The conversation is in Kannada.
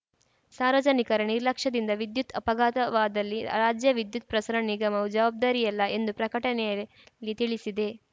ಸಾರ್ವಜನಿಕರ ನಿರ್ಲಕ್ಷ್ಯದಿಂದ ವಿದ್ಯುತ್‌ ಅಪಘಾತವಾದಲ್ಲಿ ರಾಜ್ಯ ವಿದ್ಯುತ್‌ ಪ್ರಸರಣ ನಿಗಮವು ಜವಾಬ್ದಾರಿಯಲ್ಲ ಎಂದು ಪ್ರಕಟಣೆಯಲ್ಲಿ ತಿಳಿಸಿದೆ